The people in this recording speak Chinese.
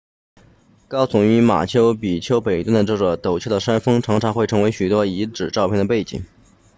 高耸于马丘比丘北端的这座陡峭的山峰常常会成为许多遗址照片的背景